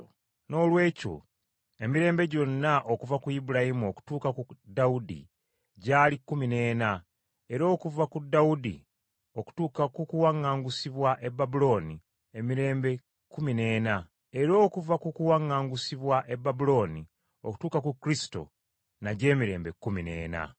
Noolwekyo emirembe gyonna okuva ku Ibulayimu okutuuka ku Dawudi gyali kkumi n’ena, era okuva ku Dawudi okutuuka ku kuwaŋŋaangusibwa e Babulooni, emirembe kkumi n’ena, era okuva ku kuwaŋŋaangusibwa e Babulooni okutuuka ku Kristo, nagyo emirembe kkumi n’ena.